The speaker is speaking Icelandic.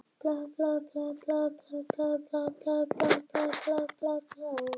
Ég er fyrir löngu búin að sjá að það er langbest að vera heiðarlegur.